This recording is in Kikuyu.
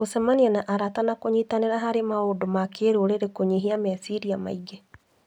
Gũcemania na arata na kũnyitanĩra harĩ maũndũ ma kĩrũrĩrĩ kũnyihagia meciria maingĩ.